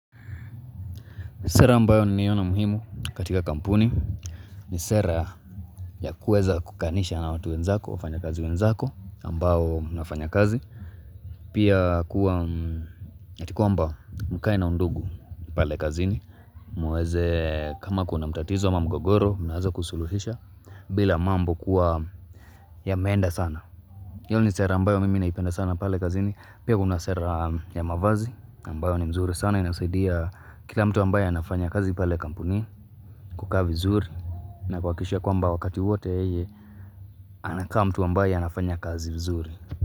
Sera ambayo naiona muhimu katika kampuni ni sera ya kuweza kukanisha na watu wenzako, wafanya kazi wenzako ambao mnafanya kazi. Pia kuwa ya kwamba mkae na undugu pale kazini. Mweze kama kuna mtatizo ama mugogoro, mnaeza kusuluhisha bila mambo kuwa yameenda sana. Hiyo ni sera ambayo mimi naipenda sana pale kazini. Pia kuna sera ya mavazi ambayo ni nzuri sana inasaidia kila mtu ambaye anafanya kazi pale kampuni. Kukaa vizuri na kuhakikisha ya kwamba wakati wote ye anakaa mtu ambaye anafanya kazi vizuri.